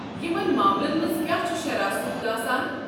یمن معاملن منٛز کیٛاہ چھُ شرح سوٗد آسان؟